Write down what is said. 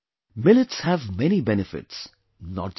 Millets have many benefits, not just one